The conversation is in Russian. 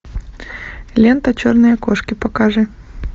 лента черные кошки покажи